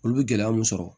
Olu bɛ gɛlɛya mun sɔrɔ